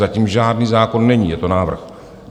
Zatím žádný zákon není, je to návrh.